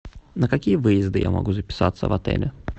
на какие выезды я могу записаться в отеле